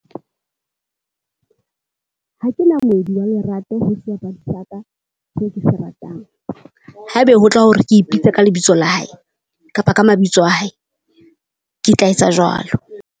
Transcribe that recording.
Ha ke na moedi wa lerato ho sebapadi sa ka se ke se ratang. Haebe ho tla hore ke ipitse ka lebitso la hae kapa ka mabitso a hae, ke tla etsa jwalo.